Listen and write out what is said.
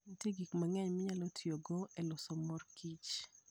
Nitie gik mang'eny minyalo tigo e loso mor kich.